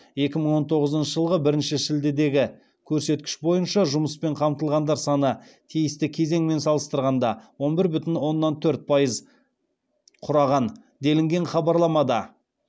екі мың он тоғызыншы жылғы бірінші шілдедегі көрсеткіш бойынша жұмыспен қамтылғандар саны тиісті кезеңмен салыстырғанда он бір бүтін оннан төрт пайыз құраған делінген хабарламада